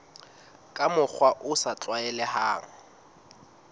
ka mokgwa o sa tlwaelehang